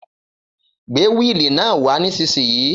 Gbé wíili náà wà nísìsiyìí